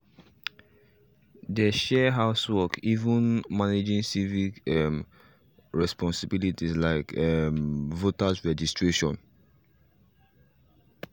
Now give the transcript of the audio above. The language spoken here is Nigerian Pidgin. they share house work even managing civic um responsibilities like um voter registration